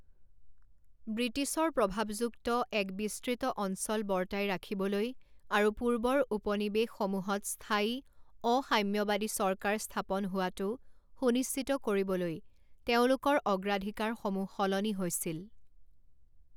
ব্ৰিটিছৰ প্ৰভাৱযুক্ত এক বিস্তৃত অঞ্চল বৰ্তাই ৰাখিবলৈ আৰু পূৰ্বৰ উপনিৱেশসমূহত স্থায়ী, অসাম্যবাদী চৰকাৰ স্থাপন হোৱাটো সুনিশ্চিত কৰিবলৈ তেওঁলোকৰ অগ্ৰাধিকাৰসমূহ সলনি হৈছিল।